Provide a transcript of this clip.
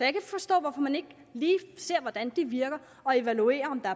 ikke forstå hvorfor man ikke lige ser hvordan det virker og evaluerer om der